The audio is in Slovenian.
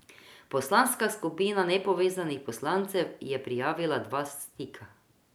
Poslanska skupina nepovezanih poslancev je prijavila dva stika.